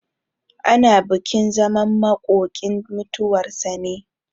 Ana bukin zaman makokinmutuwar sa ne.